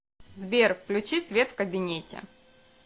сбер включи свет в кабинете